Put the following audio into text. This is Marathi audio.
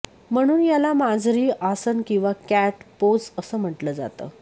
म्हणून याला मार्जरी आसन किंवा कॅट पोझ असं म्टटलं जातं